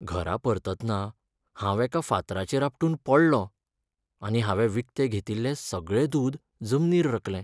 घरा परततना हांव एका फातराचेर आपटून पडलों आनी हांवें विकतें घेतिल्लें सगळें दूद जमनीर रकलें.